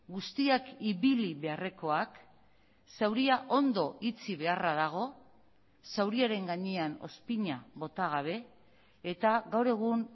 guztiak ibili beharrekoak zauria ondo itxi beharra dago zauriaren gainean ozpina bota gabe eta gaur egun